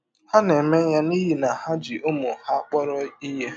Ha na - eme ya n’ihi na ha ji ụmụ ha kpọrọ ihe.